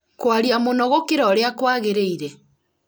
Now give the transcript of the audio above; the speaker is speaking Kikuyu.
kwaria mũno gũkĩra ũrĩa kwagĩrĩire